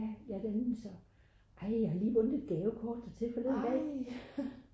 ja det er nemlig så ej jeg har lige vundet et gavekort dertil forleden dag